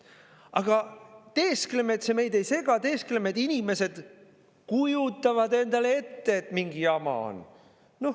Aga me teeskleme, et see meid ei sega, teeskleme, et inimesed kujutavad endale ette, et mingi jama on.